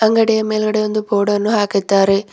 ಅಂಗಡಿಯ ಮೇಲ್ಗಡೆ ಒಂದು ಬೋರ್ಡನ್ನು ಹಾಕಿದ್ದಾರೆ.